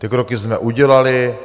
Ty kroky jsme udělali.